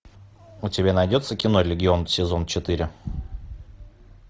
у тебя найдется кино легион сезон четыре